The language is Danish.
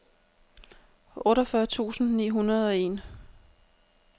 otteogfyrre tusind ni hundrede og en